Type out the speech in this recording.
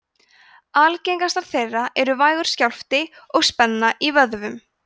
algengastar þeirra eru vægur skjálfti og spenna í vöðvum